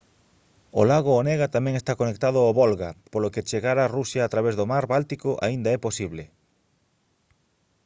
o lago onega tamén está conectado ao volga polo que chegar a rusia a través do mar báltico aínda é posible